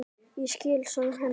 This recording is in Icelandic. Ég skil sorg hennar.